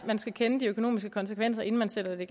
man skulle kende de økonomiske konsekvenser inden man satte